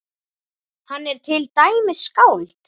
Hann er til dæmis skáld.